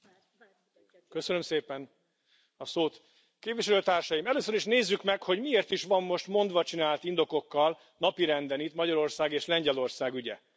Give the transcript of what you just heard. Tisztelt Elnök úr! Köszönöm szépen a szót. Képviselőtársaim! Először is nézzük meg, hogy miért is van most mondvacsinált indokokkal napirenden itt Magyarország és Lengyelország ügye.